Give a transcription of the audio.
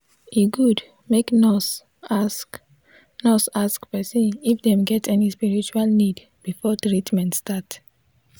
e good make nurse ask nurse ask person if dem get any spiritual need before treatment start.